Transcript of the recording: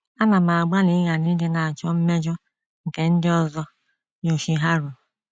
Anam agbalị ịghara ịdị na - achọ mmejọ, nke ndị ọzọ, Yoshiharu.